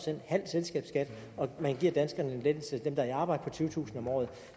halv selskabsskat og at man giver danskerne dem der er i arbejde tyvetusind om året